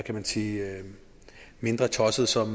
man sige tossede som